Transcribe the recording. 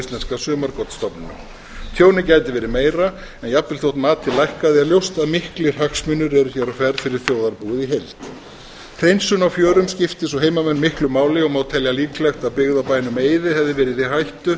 íslenska sumargotsstofninum tjónið gæti verið meira en jafnvel þó matið lækkaði er ljóst að miklir hagsmunir eru hér á ferð fyrir þjóðarbúið í heild hreinsun á fjörum skiptir svo heimamenn miklu máli og má telja líklegt að byggð á bænum eiði hefði verið í hættu